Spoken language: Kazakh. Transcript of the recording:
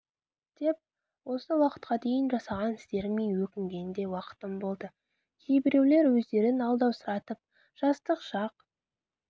деп осы уақытқа дейін жасаған істеріме өкінген де уақытым болды кейбіреулер өздерін алдаусыратып жастық шақ